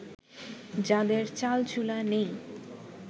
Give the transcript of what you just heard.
যাঁদের চালচুলা নেই